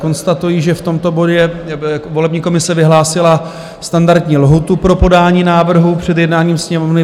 Konstatuji, že v tomto bodě volební komise vyhlásila standardní lhůtu pro podání návrhu před jednáním Sněmovny.